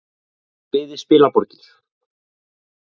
Hann byggði spilaborgir.